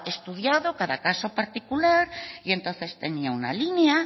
estudiado cada caso particular y entonces tenía una línea